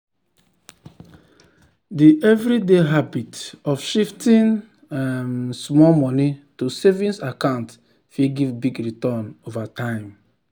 d everyday habit of shifting um small money to savings accounts fit give big return over time.